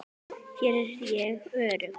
Hér er ég örugg.